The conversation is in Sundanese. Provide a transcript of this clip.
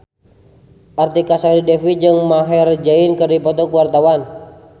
Artika Sari Devi jeung Maher Zein keur dipoto ku wartawan